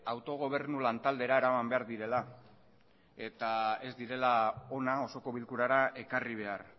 autogobernu lantaldera eraman behar direla eta ez direla hona osoko bilkurara ekarri behar